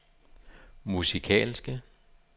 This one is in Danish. musikalske